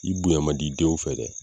I bonya mandi denw fɛ dɛ